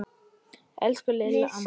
Elsku Lilla amma mín.